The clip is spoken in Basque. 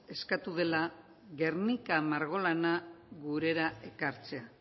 eskatu dela guernica margolana gurera ekartzea